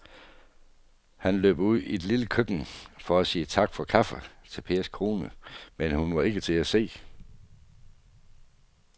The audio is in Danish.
Han løb ud i det lille køkken for at sige tak for kaffe til Pers kone, men hun var ikke til at se.